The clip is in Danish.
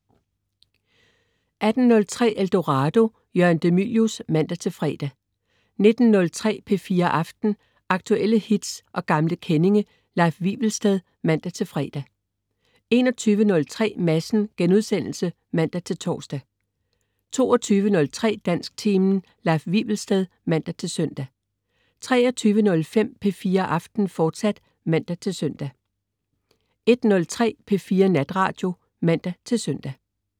18.03 Eldorado. Jørgen de Mylius (man-fre) 19.03 P4 Aften. Aktuelle hits og gamle kendinge. Leif Wivelsted (man-fre) 21.03 Madsen* (man-tors) 22.03 Dansktimen. Leif Wivelsted (man-søn) 23.05 P4 Aften, fortsat (man-søn) 01.03 P4 Natradio (man-søn)